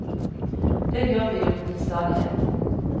Det gjør vi jo til stadighet.